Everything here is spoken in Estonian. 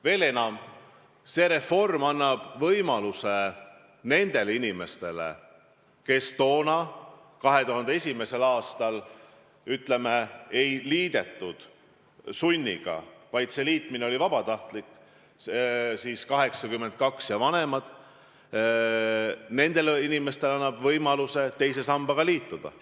Veel enam, see reform annab võimaluse nendele inimestele, kes 2001. aastal ei liitunud, sest siis ei liidetud sunniga, vaid see liitumine oli vabatahtlik – sündinud 1982 või varem –, teise sambaga liituda.